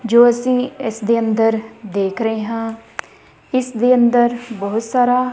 ਜੋ ਅਸੀਂ ਇਸ ਦੇ ਅੰਦਰ ਦੇਖ ਰਹੇ ਹਾਂ। ਇਸ ਦੇ ਅੰਦਰ ਬਹੁਤ ਸਾਰਾ --